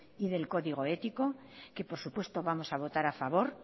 y del código ético que por supuesto vamos a votar a favor